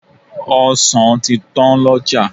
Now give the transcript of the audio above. Ọsàn ti tán lọ́jà.